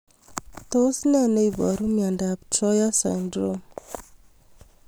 Tos ne neiparu miondop Troyer syndrome